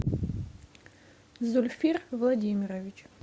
зульфир владимирович